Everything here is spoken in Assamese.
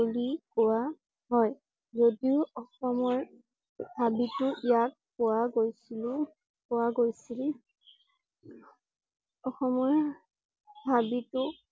বুলি কোৱা হয়। যদিও অসমৰ হাবিতো ইয়াক পোৱা গৈছিল পোৱা গৈছিল অসমৰ হাবিতো